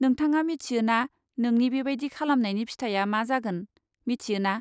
नोंथाङा मिथियो ना नोंनि बेबादि खालामनायनि फिथाइआ मा जागोन, मिथियोना?